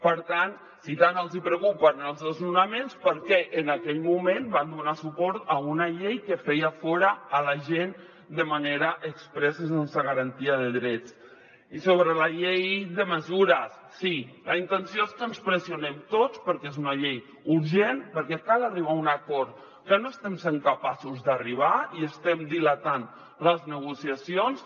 per tant si tant els hi preocupen els desnonaments per què en aquell moment van donar suport a una llei que feia fora la gent de manera exprés i sense garantia de drets i sobre la llei de mesures sí la intenció és que ens pressionem tots perquè és una llei urgent perquè cal arribar a un acord que no hi estem sent capaços d’arribar i estem dilatant les negociacions